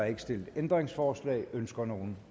ikke stillet ændringsforslag ønsker nogen